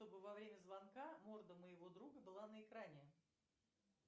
чтобы во время звонка морда моего друга была на экране